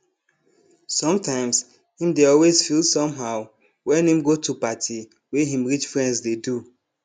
sometimes him dey always feel somehow wen him go to party wey him rich friends dey do